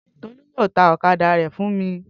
Tolú yóò ta ọ̀kadà rẹ̀ fún mi